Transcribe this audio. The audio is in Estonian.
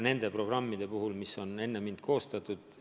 Need programmid on enne mind koostatud.